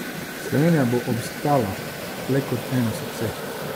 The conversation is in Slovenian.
Slovenija bo obstala le kot eno srce!